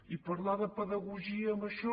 i parlar de pedagogia amb això